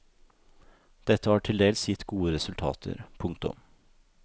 Dette har tildels gitt gode resultater. punktum